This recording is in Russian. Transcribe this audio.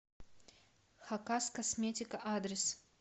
хакаскосметика адрес